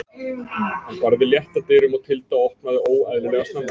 Hann barði létt að dyrum og Tilda opnaði óeðlilega snemma.